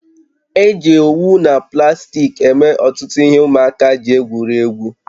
Eji owu na plastiki eme ọtụtụ ihe ụmụaka ji egwuri egwu